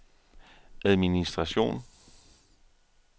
administration